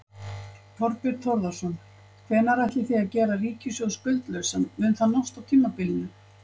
Þorbjörn Þórðarson: Hvenær ætlið þið að gera ríkissjóð skuldlausan, mun það nást á tímabilinu?